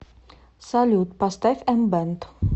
салют поставь эмбэнд